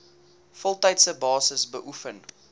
voltydse basis beoefen